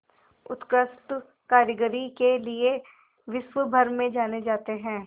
उत्कृष्ट कारीगरी के लिये विश्वभर में जाने जाते हैं